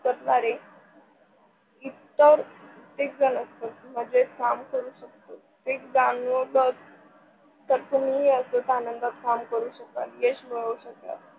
Corner इतर एकजण असत म्हणजे काम करू शकतो. एक जाणवलं तर तुम्ही आनंदात काम करू शकाल, यश मिळू शकाल.